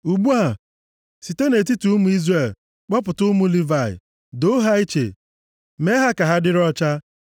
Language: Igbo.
“Ugbu a, site nʼetiti ụmụ Izrel, kpọpụta ụmụ Livayị, doo ha iche, mee ha ka ha dịrị ọcha.